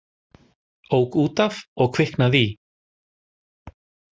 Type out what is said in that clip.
Ók út af og kviknaði í